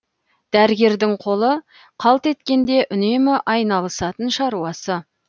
дәрігердің қолы қалт еткенде үнемі айналысатын шаруасы